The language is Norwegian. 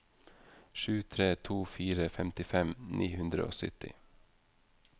sju tre to fire femtifem ni hundre og sytti